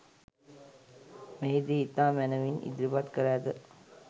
මෙහිදී ඉතා මැනවින් ඉදිරිපත් කර ඇත.